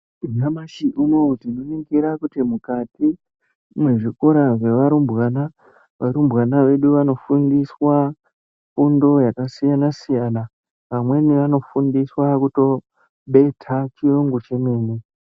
Nyamashi unouyu tinoningira kuti mukati mwezvikora zvevarumbwana. Varumbwana vedu vanofundiswa fundo yakasiyana-siyana. Amweni anofundiswa kutobeta chiyungu chemene.